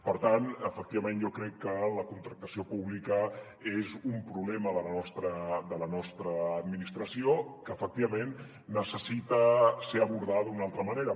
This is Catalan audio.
per tant efectivament jo crec que la contractació pública és un problema de la nostra administració que efectivament necessita ser abordat d’una altra manera